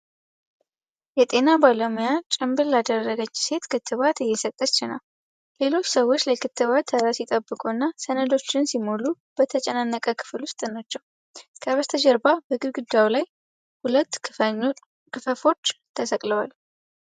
የጤና ባለሙያ ጭንብል ላደረገች ሴት ክትባት እየሰጠች ነው። ሌሎች ሰዎች ለክትባት ተራ ሲጠብቁና ሰነዶችን ሲሞሉ በተጨናነቀ ክፍል ውስጥ ናቸው። ከበስተጀርባ በግድግዳው ላይ ሁለት ክፈፎች ተሰቅለዋል።